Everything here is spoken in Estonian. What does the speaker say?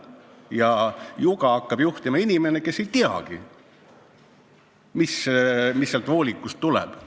Ja juga hakkab juhtima inimene, kes ei teagi, mis sealt voolikust tuleb.